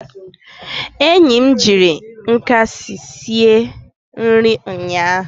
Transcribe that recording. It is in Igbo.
enyi m jiri nkasi sie nri ụnyaahụ